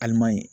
Aliman ye